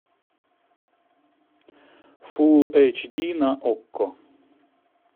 фул эйч ди на окко